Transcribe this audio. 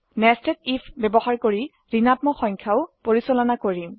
nested IF ব্যবহাৰ কৰি ঋণাত্মক সংখ্যাও পৰিচালনা কৰিম